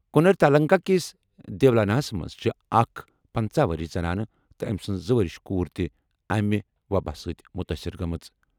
کَنر تالٗكہ کِس دیولاناہس منٛز چھےٚ اَکھ پنژہ ؤرِش زنانہٕ تہٕ أمہِ سٕنٛز زٕ ؤرِش کوٗر تہِ اَمہِ وۄباہ سۭتۍ مُتٲثِر گٔمٕژ۔